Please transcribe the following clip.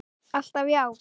Alltaf já.